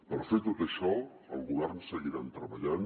per fer tot això al govern seguirem treballant